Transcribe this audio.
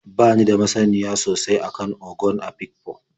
Ba ni da masaniya sosai a kan Ogon Afikpo.